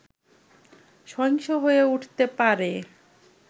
সহিংস হয়ে উঠতে পারে